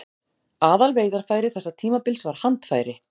Aðalveiðarfæri þessa tímabils var handfæri.